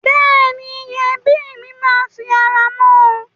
Bẹ́ẹ̀ni, ẹbí mi máa fi ara mọ́ ọn.